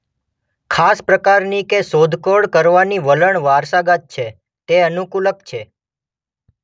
ખાસ પ્રકારની કે શોધખોળ કરવાની વલણ વારસાગત છે તે અનુકૂલક છે.